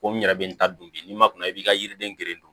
Ko n yɛrɛ bɛ n ta don bi n'i ma kɔn a b'i ka yiriden geren